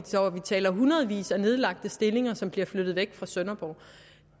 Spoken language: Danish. taler om hundredvis af nedlagte stillinger som bliver flyttet væk fra sønderborg